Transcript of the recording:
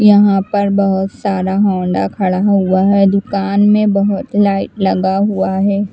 यहाँ पर बहुत सारा हौंडा खड़ा हुआ हैं दूकान में बहुत लाइट लगा हुआ हैं।